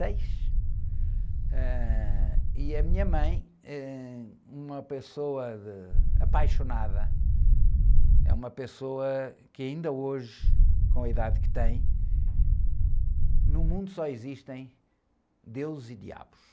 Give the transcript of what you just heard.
seis. Ãh... E a minha mãe é uma pessoa de, apaixonada, é uma pessoa que ainda hoje, com a idade que tem, no mundo só existem deus e diabos.